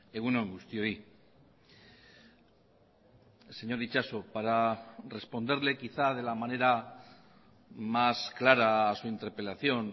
egun on guztioi señor itxaso para responderle quizá de la manera más clara a su interpelación